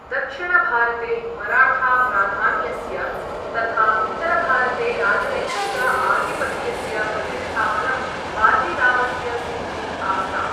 दक्षिणभारते मराठा प्राधान्यस्य तथा उत्तरभारते राजनैतिक आधिपत्यस्य प्रतिष्ठापनं बाजीरावस्य सिद्धी आस्ताम्।